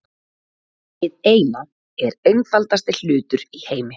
Hið Eina er einfaldasti hlutur í heimi.